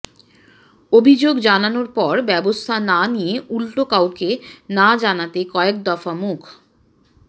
অভিযোগ জানানোর পর ব্যবস্থা না নিয়ে উল্টো কাউকে না জানাতে কয়েক দফা মুখ